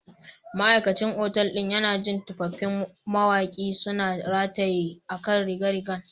Ma'aikacin otal ɗin yana jin tufafin Mawaƙi suna rataye a kan rigar rigar